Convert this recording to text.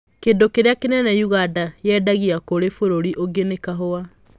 Kĩndũ kĩrĩa kĩnene Uganda yendagia kũrĩ bũrũri ũngĩ nĩ kahũa.